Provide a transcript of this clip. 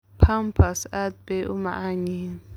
Pampas aad bay u macaan yihiin.